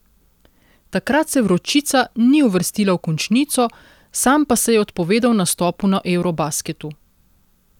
Takrat se Vročica ni uvrstila v končnico, sam pa se je odpovedal nastopu na eurobasketu.